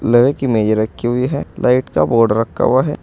लोहे की मेज रखी हुई है। लाइट का बोर्ड रखा हुआ है।